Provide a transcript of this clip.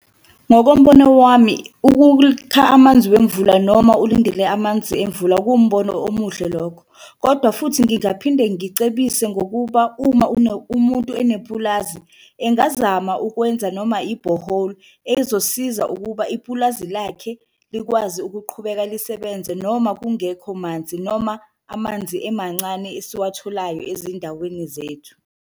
Ngokombono wami amanzi wemvula noma ulindele amanzi emvula kuwumbono omuhle lokho, kodwa futhi ngingaphinde ngicebise ngokuba uma umuntu nepulazi engazama ukwenza noma ibhoholi. Ezosiza ukuba ipulazi lakhe likwazi ukuqhubeka lisebenze noma kungekho manzi, noma amanzi emancane esiwatholayo ezindaweni zethu.